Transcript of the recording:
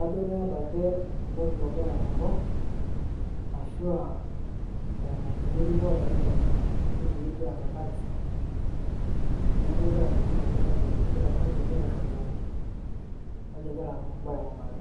ajo keeta ake olorika ogira aing'oru ashua eeta enkiti rikore ake tinkiti wueji arashu tekanisa. Neeku egira alimu ajo kaji egira aikunari, kaji egira imbaa aikunari.